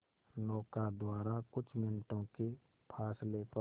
नौका द्वारा कुछ मिनटों के फासले पर